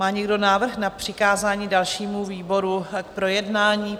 Má někdo návrh na přikázání dalšímu výboru k projednání?